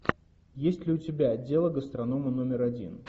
есть ли у тебя дело гастронома номер один